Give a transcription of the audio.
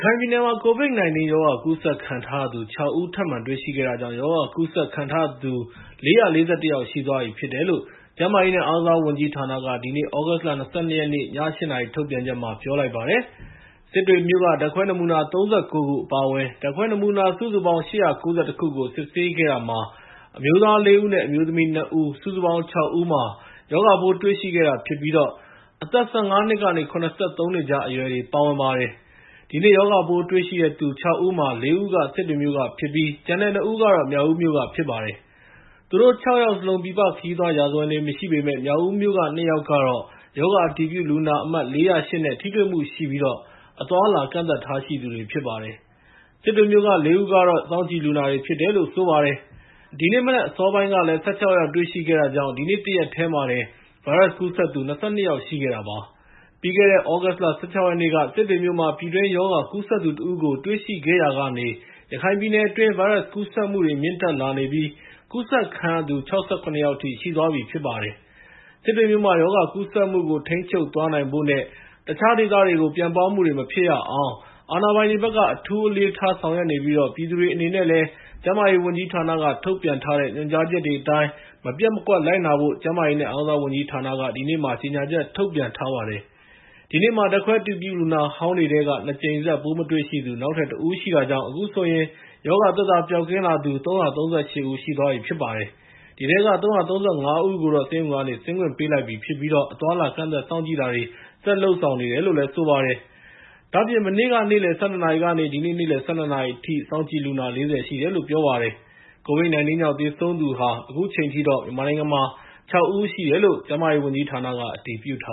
ခိုင်ပြည်နယ်မှာ COVID-19 ရောဂါ ကူးစက်ခံထားရသူ ၆ ဦး ထပ်မံတွေ့ရှိခဲ့တာကြောင့် ရောဂါကူးစက်ခံရသူ ၄၄၁ ယောက်ရှိသွားပြီ ဖြစ်တယ်လို့ ကျန်းမာရေးနဲ့ အားကစားဝန်ကြီးဌာနက ဒီနေ့ သြဂုတ်လ ၂၂ ရက်နေ့ ည ၈ နာရီ ထုတ်ပြန်ချက်မှာ ပြောလိုက်ပါတယ်။ စစ်တွေမြို့က ဓာတ်ခွဲနမူနာ ၃၉ ခု အပါအဝင် ဓာတ်ခွဲနမူနာ စုစုပေါင်း ၈၉၁ ခုကို စစ်ဆေးခဲ့တာမှာ အမျိုးသား ၄ ဦးနဲ့ အမျိုးသမီး ၂ ဦး စုစုပေါင်း ၆ ဦးမှာ ရောဂါပိုး တွေ့ရှိခဲ့တာဖြစ်ပြီး အသက် ၁၅ နှစ်ကနေ ၇၃ နှစ်ကြား အရွယ်တွေ ပါဝင်ပါတယ်။ ဒီနေ့ ရောဂါပိုးတွေ့ရှိသူ ၆ ဦးမှာ ၄ ဦးက စစ်တွေမြို့ကဖြစ်ပြီး ကျန်တဲ့ ၂ ဦးကတော့ မြောက်ဦးက ဖြစ်ပါတယ်။ သူတို့ ၆ ယောက်စလုံး ပြည်ပခရီးသွားရာဇဝင် မရှိပေမယ့် မြောက်ဦးမြို့က ၂ ယောက်ကတော့ ရောဂါအတည်ပြုလူနာအမှတ် ၄၀၈ နဲ့ ထိတွေ့မှုရှိပြီး အသွားအလာ ကန့်သတ်ထားရှိသူတွေ ဖြစ်ပါတယ်။ စစ်တွေမြို့က ၄ ဦးကတော့ စောင့်ကြည့်လူနာတွေ ဖြစ်တယ်လို့ ပြောပါတယ်။ ဒီနေ့မနက် အစောပိုင်းကလည်း ၁၆ ယောက် တွေ့ရှိခဲ့တာကြောင့် ဒီနေ့တရက်တည်းမှာတင် ဗိုင်းရပ်စ်ကူးစက်သူ ၂၂ ယောက် ရှိခဲ့တာပါ။ ပြီးခဲ့တဲ့ သြဂုတ်လ ၁၆ ရက်နေ့က စစ်တွေမြို့မှာ ပြည်တွင်း ရောဂါကူးစက်သူတဦးကို တွေ့ရှိခဲ့ရာကနေ ရခိုင်ပြည်နယ်အတွင်း ဗိုင်းရပ်စ်ကူးစက်မှုတွေ မြင့်တက်လာနေပြီး ကူးစက်ခံရသူ ၆၇ ယောက်အထိ ရှိသွားပြီဖြစ်ပါတယ်။ စစ်တွေမြို့မှာ ရောဂါကူးစက်မှုကို ထိန်းချုပ်သွားနိုင်ဖို့နဲ့ တခြားဒေသတွေကို ပြန့်ပွားမှုတွေ မဖြစ်ရအောင် အာဏာပိုင်တွေဘက်က အထူးအလေးထား ဆောင်ရွက်နေပြီး ပြည်သူတွေအနေနဲ့လည်း ကျန်းမာရေးဝန်ကြီးဌာနက ထုတ်ပြန်တဲ့ ညွှန်ကြားချက်တွေအတိုင်း မပျက်မကွက်လိုက်နာဖို့ ကျန်းမာရေးနဲ့ အားကစားဝန်ကြီးဌာနက ဒီနေ့ ကြေညာချက် ထုတ်ပြန်ထားပါတယ်။ ဒီနေ့မှာ ဓာတ်ခွဲအတည်ပြု လူနာဟောင်းတွေထဲက ၂ ကြိမ်ဆက် ပိုးမတွေ့ရှိသူ နောက်ထပ် ၁ ဦးရှိတာကြောင့် အခုဆိုရင် ရောဂါသက်သာ ပျောက်ကင်းလာသူ ၃၃၈ ဦး ရှိသွားပါပြီ။ ဒီထဲက ၃၃၅ ဦးကိုတော့ ဆေးရုံကနေ ဆင်းခွင့်ပေးလိုက်ပြီဖြစ်ပြီး အသွားအလာ ကန့်သတ်စောင့်ကြည့်တာတွေ ဆက်လက်လုပ်ဆောင်နေတယ်လို့ ပြောပါတယ်။ ဒါ့အပြင် မနေ့က နေ့လယ် ၁၂ နာရီကနေ ဒီနေ့ နေ့လယ် ၁၂ နာရီအထိ စောင့်ကြည့်လူနာ ၄၀ ရှိတယ်လို့ ပြောပါတယ်။ COVID-19 ကြောင့် သေဆုံးသူ ၆ ဦး ရှိတယ်လို့လည်း ကျန်းမာရေးဝန်ကြီးဌာနက အတည်ပြု ထ